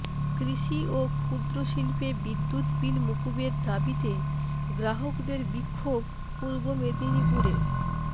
কৃষি ও ক্ষুদ্র শিল্পে বিদ্যুৎ বিল মকুবের দাবিতে গ্রাহকদের বিক্ষোভ পূর্ব মেদিনীপুরে